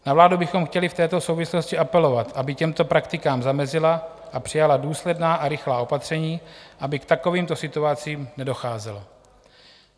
Na vládu bychom chtěli v této souvislosti apelovat, aby těmto praktikám zamezila a přijala důsledná a rychlá opatření, aby k takovýmto situacím nedocházelo.